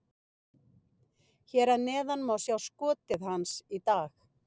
Hér að neðan má sjá skotið hans í dag: